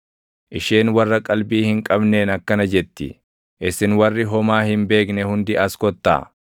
Isheen warra qalbii hin qabneen akkana jetti. “Isin warri homaa hin beekne hundi as kottaa!